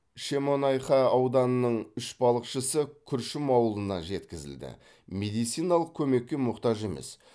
шемонаиха ауданының үш балықшысы күршім ауылына жеткізілді медициналық көмекке мұқтаж емес